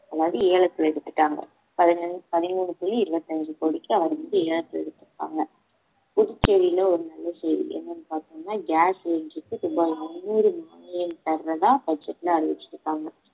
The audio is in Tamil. அதாவது ஏலத்துல எடுத்துட்டாங்க பதினேழு~ பதிமூணு புள்ளி இருபத்தி அஞ்சு கோடிக்கு அவர வந்து ஏலத்துல எடுத்துருக்காங்க புதுச்சேரியில ஒரு நல்ல செய்தி என்னனு பாத்தோம்னா gas cylinder க்கு ரூபாய் முன்னூறு மானியம் தர்றதா budget ல அறிவிச்சிருக்காங்க